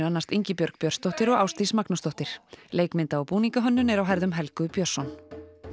annast Ingibjörg Björnsdóttir og Ásdís Magnúsdóttir leikmynda og búningahönnun er á herðum Helgu Björnsson